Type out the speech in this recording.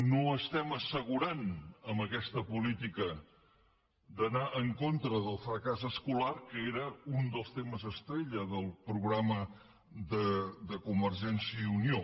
no estem assegurant amb aquesta política d’anar en contra del fracàs escolar que era un dels temes estrella del programa de convergència i unió